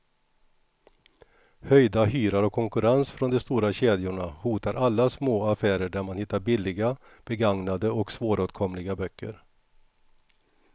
Höjda hyror och konkurrens från de stora kedjorna hotar alla små affärer där man hittar billiga, begagnade och svåråtkomliga böcker.